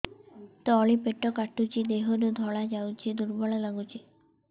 ତଳି ପେଟ କାଟୁଚି ଦେହରୁ ଧଳା ଯାଉଛି ଦୁର୍ବଳ ଲାଗୁଛି